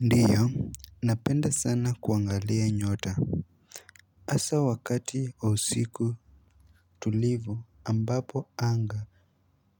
Ndiyo, napenda sana kuangalia nyota hasa wakati wa usiku tulivu ambapo anga